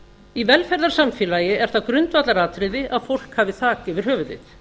í velferðarsamfélagi er það grundvallaratriði að fólk hafi þak yfir höfuðið